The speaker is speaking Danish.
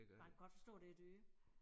Man kan godt forstå det er dyr